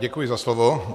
Děkuji za slovo.